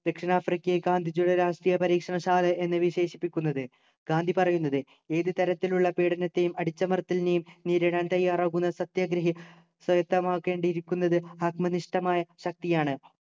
ദക്ഷിണാഫ്രിക്കയെ ഗന്ധിജിയുടെ രാഷ്ട്രീയ പരീക്ഷണശാല എന്ന് വിശേഷിപ്പിക്കുന്നത് ഗാന്ധി പറയുന്നത് ഏത് തരത്തിലുള്ള പീഡനത്തെയും അടിച്ചമർത്തലിനെയും നേരിടാൻ തയ്യാറാകുന്ന സത്യാഗ്രഹിയെ സ്വായത്തമാക്കേണ്ടിയിരിക്കുന്നത് ആത്മനിഷ്ഠമായ ശക്തിയാണ്